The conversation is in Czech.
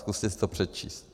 Zkuste si to přečíst.